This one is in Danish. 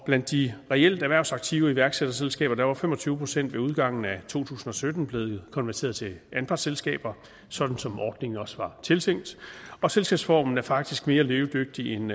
blandt de reelt erhvervsaktive iværksætterselskaber var fem og tyve procent ved udgangen af to tusind og sytten blevet konverteret til anpartsselskaber sådan som ordningen også var tiltænkt og selskabsformen er faktisk mere levedygtig end